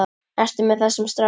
Ertu með þessum strák?